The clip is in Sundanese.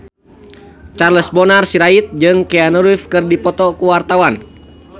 Charles Bonar Sirait jeung Keanu Reeves keur dipoto ku wartawan